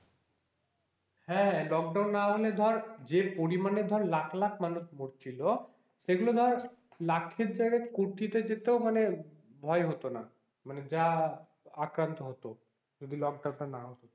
হ্যাঁ, লোকডাউন নাহলে ধর যে পরিমানে ধর লক্ষ লক্ষ মানুষ মরছিল সেগুলো ধর লাখের জায়গায় কোটিতে যেতেও মানে ভয় হতো না মানে যা আক্রান্ত হতো যদি লকডাউনটা না হতো,